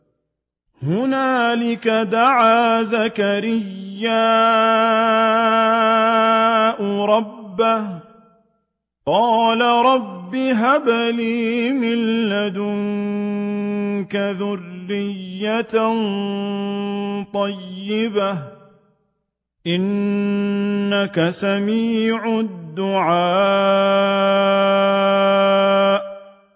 هُنَالِكَ دَعَا زَكَرِيَّا رَبَّهُ ۖ قَالَ رَبِّ هَبْ لِي مِن لَّدُنكَ ذُرِّيَّةً طَيِّبَةً ۖ إِنَّكَ سَمِيعُ الدُّعَاءِ